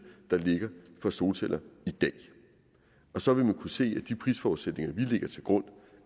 der ligger for solceller i dag så vil man kunne se at de prisforudsætninger vi lægger til grund